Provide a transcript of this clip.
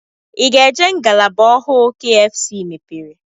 Ị ga-eje ngalaba ọhụụ kfc mepere?